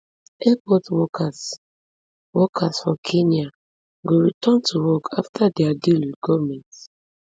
airport workers workers for kenya go return to work afta dia deal wit goment